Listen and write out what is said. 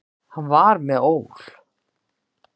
Hann var með ól.